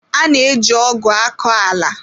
A na-eji ọgụ akọ ala.